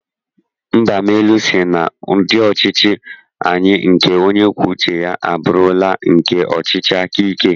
Mbamalu sị na ndị ọchịchị anyị nke onye kwuo uche ya, abụrụla nke ọchịchị aka ike.